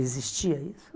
Existia isso?